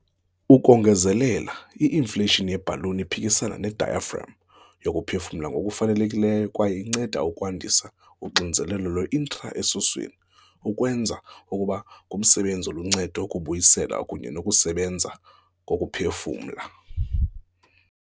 Ukongezelela, i-inflation ye-balloon iphikisana ne-diaphragm yokuphefumula ngokufanelekileyo kwaye inceda ukwandisa uxinzelelo lwe-intra-esiswini, okwenza kube ngumsebenzi oluncedo wokubuyisela kunye nokusebenza kokuphefumula.